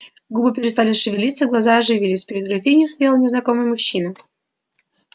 губы перестали шевелиться глаза оживились перед графиней стоял незнакомый мужчина